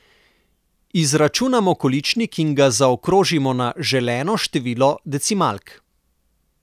Izračunamo količnik in ga zaokrožimo na želeno število decimalk.